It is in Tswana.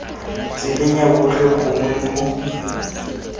tseleng ya botlhe gongwe mo